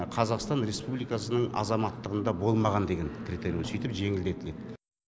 қазақстан республикасының азаматтығында болмаған деген критерийі сөйтіп жеңілдетіледі